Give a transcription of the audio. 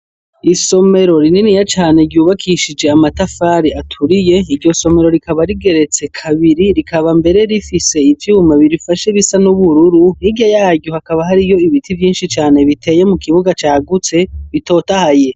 Isomero rininiya cane ryubakishije amatafari aturiye. Iryo somero rikaba rigeretse kabiri, rikaba mbere rifise ivyuma birifashe bisa n'ubururu. Hirya yaryo hakaba hariho ibiti vyinshi cane biteye mu kibuga cagutse bitotahaye.